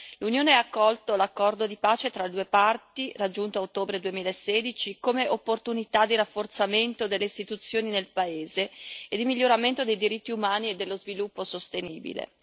L'Unione ha accolto l'accordo di pace tra le due parti, raggiunto a ottobre 2016, come un'opportunità di rafforzamento delle istituzioni nel paese e di miglioramento dei diritti umani e dello sviluppo sostenibile.